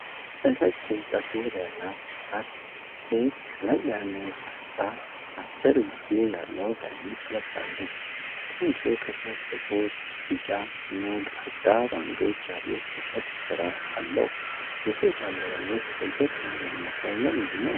እረጅም ፀጉር ያላት ወጣት ሴት ቀለል ያለ ግራጫ አጭር እጅጌ ያለው ቀሚስ ለብሳለች። ቀሚሱ ከታች ጥቁር፣ ቢጫና ግራጫ ባንዶች ያሉት የጥልፍ ሥራ አለው። የሴቷ አለባበስ ለየት ያለ የሚመስለው ለምንድን ነው?